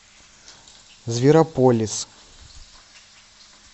зверополис